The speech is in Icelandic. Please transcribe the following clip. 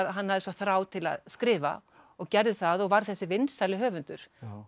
hann hafði þessa þrá til að skrifa og gerði það og varð þessi vinsæli höfundur